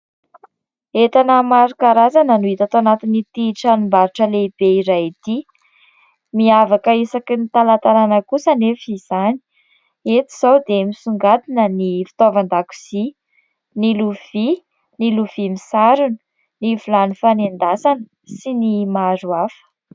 Entana maro karazana no hita tao anatin'ity tranombarotra lehibe iray ity. Miavaka isaky ny talantalana kosa anefa izany. Eto izao dia misongadina ny fitaovan-dakozia, ny lovia, ny lovia misarona, ny vilany fanendasana sy ny maro hafa.